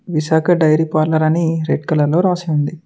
Visakha dairy parlour అని red కలలో రాసి ఉంది.